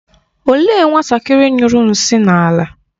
Olee nwatakịrị nyụrụ nshị na-ala?